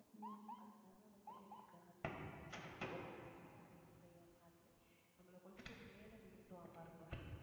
அதனால வந்து, எனக்கு, அந்த இது புடிச்சிருந்தது. ஒரு ஏறுனாலுமே நம்மளை கொண்டு போய் மேல நிறுத்துவான் பாருங்க